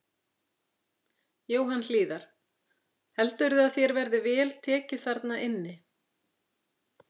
Jóhann Hlíðar: Heldurðu að þér verði vel tekið þarna inni?